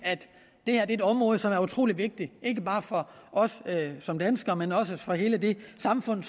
det her er et område som er utrolig vigtigt ikke bare for os som danskere men også for hele det samfund